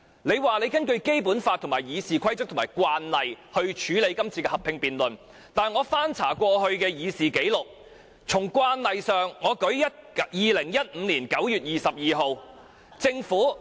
你說是根據《基本法》、《議事規則》和慣例處理今次的合併辯論，但我翻查過去的議事紀錄，按慣例來說 ，2015 年9月22日政府......